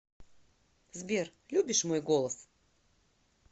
сбер любишь мой голос